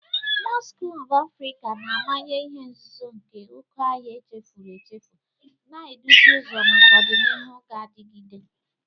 Mosu klọb Afrika na-amanye ihe nzuzo nke oke ọhịa echefuru echefu, na-eduzi ụzọ maka ọdịnihu ga-adigide.